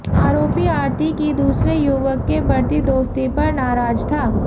आरोपी आरती की दूसरे युवक के बढ़ती दोस्ती पर नाराज था